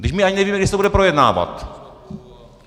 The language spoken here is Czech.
Vždyť my ani nevíme, kdy se to bude projednávat!